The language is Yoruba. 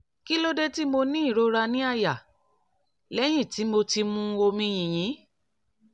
kí ló dé tí mo ní ìrora ní àyà lẹ́yìn tí mo ti mu omi yìnyín?